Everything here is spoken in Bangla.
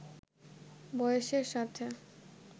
বয়সের সাথে